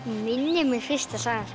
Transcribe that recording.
minnir mig fyrsta sagan